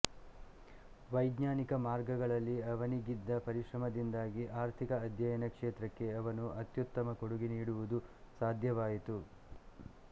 ವೈಜ್ಞಾನಿಕ ಮಾರ್ಗಗಳಲ್ಲಿ ಅವನಿಗಿದ್ದ ಪರಿಶ್ರಮದಿಂದಾಗಿ ಆರ್ಥಿಕ ಅಧ್ಯಯನ ಕ್ಷೇತ್ರಕ್ಕೆ ಅವನು ಅತ್ಯುತ್ತಮ ಕೊಡುಗೆ ನೀಡುವುದು ಸಾಧ್ಯವಾಯಿತು